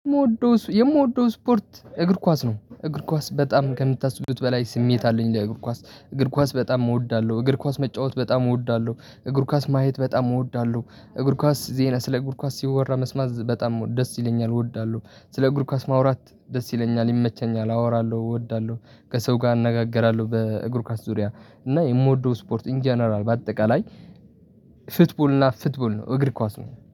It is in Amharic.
የምወደው የምወደው ስፖርት እግር ኳስ ነው። እግር ኳስ በጣም ከምታስቡት በላይ ስሜት አለኝ ለእግር ኳስ እግር ኳስ በጣም እወዳለው እግር ኳስ መጫወት በጣም እወዳለው እግር ኳስ ማየት በጣም እወዳለው። እግር ኳስ ዜና ስለ እግር ኳስ ሲወራ መስማት በጣም ደስ ይለኛል። እወዳለሁ ስለ እግር ኳስ ማውራት ደስ ይለኛል ይመቸኛል አወራለው እወዳለው። ከሰው ጋር አነጋግራለው በእግር ኳስ ዙሪያ እና የምወደው ስፖርት ኢን ጀነራል በአጠቃላይ ፍትቡል እና ፍትቡል ነው እግር ኳስ ነው።